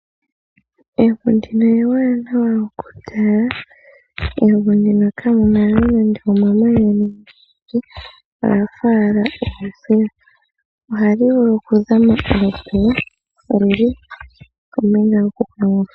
Evi ndino ewanawa okutala. Mevi ndino ka mu na nande omamanya ga sha, oga fa owala osuuka. Oha li vulu okutyuulila ohauto olundji kombinga hoka inaku uthwa.